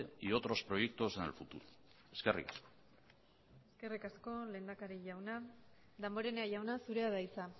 y otros proyectos en el futuro eskerrik asko eskerrik asko lehendakari jauna damborenea jauna zurea da hitza